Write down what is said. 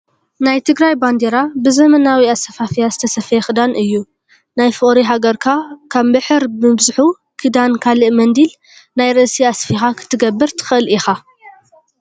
ናይ ትግራይ ባንዴራ ብዘመናዊ ኣሰፋፍያ ዝተሰፈየ ክዳን እዩ። ናይ ፍቅሪ ሃገርካ ካብ ምሕር ምብዝሑ ክዳን ካልእ መንዲል ናይ ርእሲ ኣስፊካ ክትገብር ትክእል ኢካ።